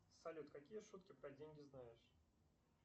салют какие шутки про деньги знаешь